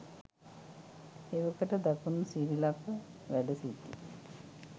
එවකට දකුණු සිරිලක වැඩ සිටි